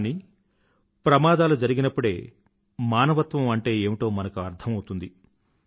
కానీ ప్రమాదాలు జరిగినప్పుడే మానవత్వం అంటే ఏమిటో మనకు అర్థం అవుతుంది